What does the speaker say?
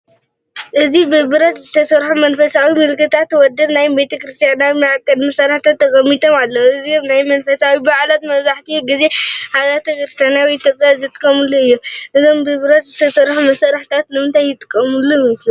እዚ ብብረት ዝተሰርሑ መንፈሳዊ ምልክታት ወይ ናይ ቤተ ክርስቲያን መዐቀኒ መሳርሒታት ተቐሚጦም ኣለዉ። እዚኦም ኣብ መንፈሳዊ በዓላት መብዛሕትኡ ግዜ ኣብ ኣብያተ ክርስቲያናት ኢትዮጵያ ዝጥቀሙሉ እዮም። እዞም ብብረት ዝተሰርሑ መሳርሒታት ንምንታይ ዝጥቀሙ ይመስልኩም?